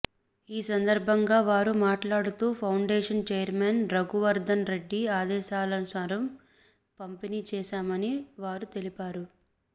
ఈ సందర్భంగా వారు మాట్లాడుతూ పౌండేషన్ చైర్మెన్ రఘు వర్ధన్ రెడ్డి ఆదేశాలనుసారం పంపిణీ చేశామని వారు తెలిపారు